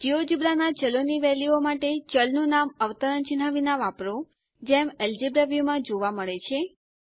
GeoGebra ના ચલો ની વેલ્યુઓ માટે ચલનું નામ અવતરણ ચિહ્ન વિના વાપરો જેમ અલ્જેબ્રા વ્યુમાં જોવા મળે છે